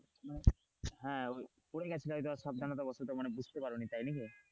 হ্যাঁ ওই পড়ে গেছিলা হয়তো সাবধানতা বসতা বুঝতে পারোনি তাই নাকি।